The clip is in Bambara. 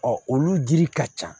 olu dili ka ca